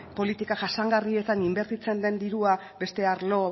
politika jasangarrietan inbertitzen den dirua beste arlo